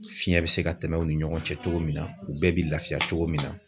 Fiɲɛ bi se ka tɛmɛ u ni ɲɔgɔn cɛ togo min na, bɛɛ bi lafiya togo min na